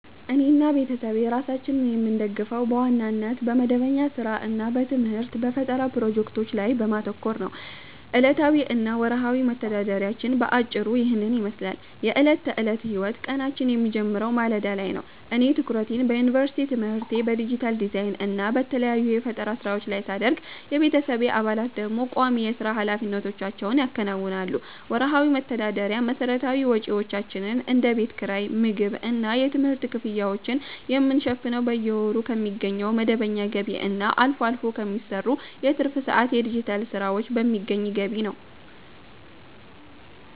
እኔና ቤተሰቤ ራሳችንን የምንደግፈው በዋናነት በመደበኛ ሥራ እና በትምህርት/በፈጠራ ፕሮጀክቶች ላይ በማተኮር ነው። ዕለታዊ እና ወርሃዊ መተዳደሪያችን በአጭሩ ይህንን ይመስላል፦ የዕለት ተዕለት ሕይወት፦ ቀናችን የሚጀምረው ማለዳ ላይ ነው። እኔ ትኩረቴን በዩኒቨርሲቲ ትምህርቴ፣ በዲጂታል ዲዛይን እና በተለያዩ የፈጠራ ሥራዎች ላይ ሳደርግ፣ የቤተሰቤ አባላት ደግሞ ቋሚ የሥራ ኃላፊነቶቻቸውን ያከናውናሉ። ወርሃዊ መተዳደሪያ፦ መሠረታዊ ወጪዎቻችንን (እንደ ቤት ኪራይ፣ የምግብ እና የትምህርት ክፍያዎችን) የምንሸፍነው በየወሩ ከሚገኘው መደበኛ ገቢ እና አልፎ አልፎ ከሚሰሩ የትርፍ ሰዓት የዲጂታል ሥራዎች በሚገኝ ገቢ ነው።